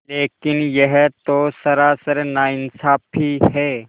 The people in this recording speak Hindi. लेकिन यह तो सरासर नाइंसाफ़ी है